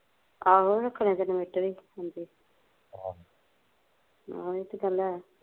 ਆਹੋ ਰੱਖਣੇ ਤੇ inventor ਹੁੰਦੇ ਆਹੋ ਏਹ ਤੇ ਗੱਲ ਹੈ